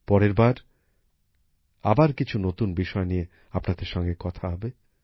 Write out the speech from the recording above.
পরের বার আবার কিছু নতুন বিষয় নিয়ে আপনাদের সঙ্গে কথা হবে